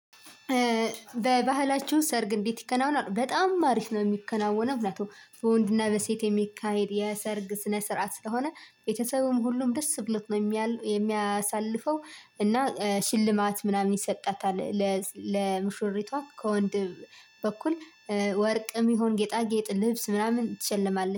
በባህላቸው ሰርግ እንዴት ይከናወናል? በጣም አሪፍ ነው ሚከናወነው ሁነቱ። በወንድና በሴት የሚካሄድ የሰርግ ስነ ስርዓት ስለሆ፣ ቤተሰቡም ሁሉም ደስ ብሎት ነው የሚያሳልፈው። እና ሽልማት ምናምን ይሰጣታል። ለሙሽሪቷ ከወንድ በኩል፣ ወርቅም ይሁን ጌጣጌጥ ልብስ ምናምን ትሸለማለች።